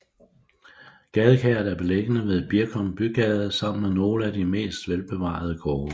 Gadekæret er beliggende ved Birkum Bygade sammen med nogle af de mest velbevarede gårde